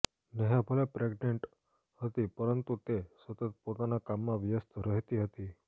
નેહા ભલે પ્રેગનેન્ટ હતી પરંતુ તે સતત પોતાના કામમાં વ્યસ્ત રહેતી હતી